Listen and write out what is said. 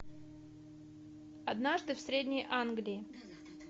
однажды в средней англии